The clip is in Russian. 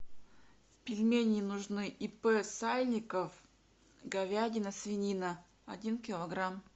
пельмени нужны ип сальников говядина свинина один килограмм